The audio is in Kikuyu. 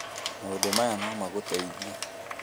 Maũndũ maya no magũteithie: